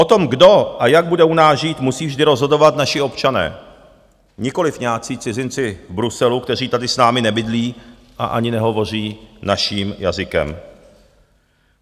O tom, kdo a jak bude u nás žít, musí vždy rozhodovat naši občané, nikoliv nějací cizinci v Bruselu, kteří tady s námi nebydlí a ani nehovoří naším jazykem.